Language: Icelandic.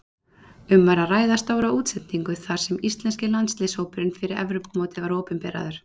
Um var að ræða stóra útsendingu þar sem íslenski landsliðshópurinn fyrir Evrópumótið var opinberaður.